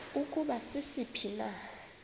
ukuba sisiphi na